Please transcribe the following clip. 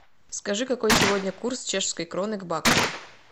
скажи какой сегодня курс чешской кроны к баксу